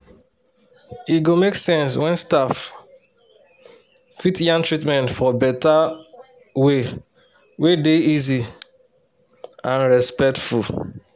e go make sense when staff fit yan treatment for better way wey dey easy and respectful.